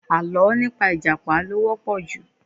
Àlọ́ nípa ìjàpá ló wọ́pọ̀ ju